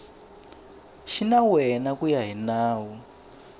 xinawana ku ya hi nawu